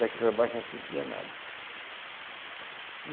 Daqui para baixo ela não sentia nada.